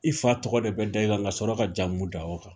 I fa tɔgɔ de bɛ da i kan ka sɔrɔ ka jamu da o kan.